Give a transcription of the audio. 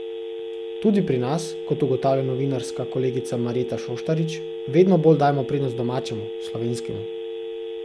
Tudi pri nas, kot ugotavlja novinarska kolegica Marjeta Šoštarič, vedno bolj dajemo prednost domačemu, slovenskemu.